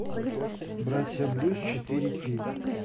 братья брюс четыре кей